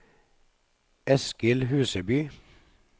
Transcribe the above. Eskil Huseby